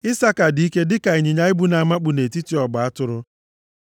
“Isaka dị ike dịka ịnyịnya ibu na-amakpu nʼetiti ọgba atụrụ.